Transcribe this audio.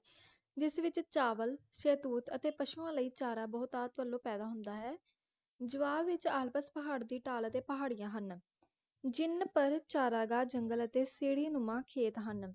ਜਿਸ ਵਿਚ ਚਾਵਲ ਸ਼ਹਿਤੂਤ ਤੇ ਪਸ਼ੂਆਂ ਲਈ ਚਾਰਾਂ ਬਹੁਤਾਤ ਵਲੋਂ ਪੈਦਾ ਹੁੰਦਾ ਹੈ ਜੋਆਹ ਵਿਚ ਆਲਪਸ ਪਹਾੜ ਦੀ ਢਾਲ ਅਤੇ ਪਹਾੜੀਆਂ ਹਨ ਜਿੰਨ ਪਰ ਚਾਰਾਗਾਹ ਜੰਗਲ ਅਤੇ ਸਿੜ੍ਹੀਨੁਮਾ ਖੇਤ ਹਨ